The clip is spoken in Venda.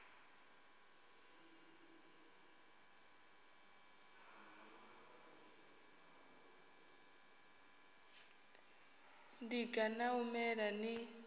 ḽiga ḽa u mela ḽi